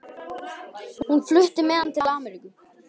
Hún flutti með hann til Ameríku.